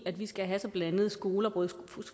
at vi skal have så blandede skoler både